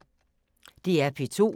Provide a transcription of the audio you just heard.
DR P2